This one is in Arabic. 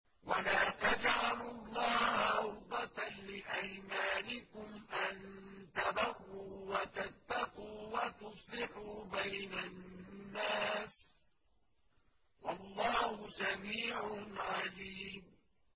وَلَا تَجْعَلُوا اللَّهَ عُرْضَةً لِّأَيْمَانِكُمْ أَن تَبَرُّوا وَتَتَّقُوا وَتُصْلِحُوا بَيْنَ النَّاسِ ۗ وَاللَّهُ سَمِيعٌ عَلِيمٌ